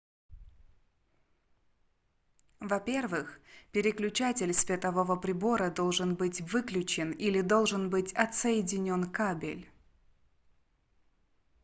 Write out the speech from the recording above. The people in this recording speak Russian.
во-первых переключатель светового прибора должен быть выключен или должен быть отсоединен кабель